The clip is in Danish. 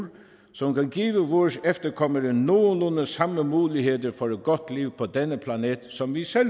som kan give vores efterkommere nogenlunde samme muligheder for et godt liv på denne planet som vi selv